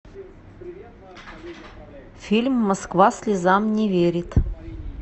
фильм москва слезам не верит